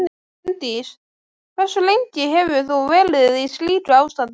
Bryndís: Hversu lengi hefur þú verið í slíku ástandi?